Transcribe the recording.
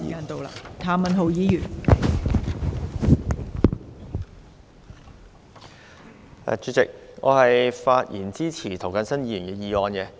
代理主席，我發言支持涂謹申議員的議案。